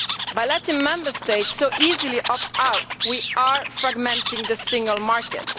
By letting Member States so easily opt out, we are fragmenting the single market.